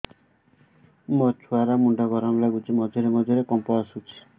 ମୋ ଛୁଆ ର ମୁଣ୍ଡ ଗରମ ଲାଗୁଚି ମଝିରେ ମଝିରେ କମ୍ପ ଆସୁଛି